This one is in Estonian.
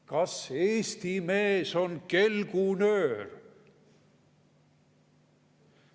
Kas Eesti mees on kelgunöör?